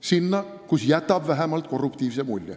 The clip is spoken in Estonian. sinna, kus see vähemalt jätab korruptiivse mulje.